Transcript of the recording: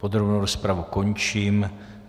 Podrobnou rozpravu končím.